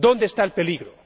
¿Dónde está el peligro?